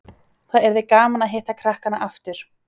Það yrði gaman að hitta krakkana aftur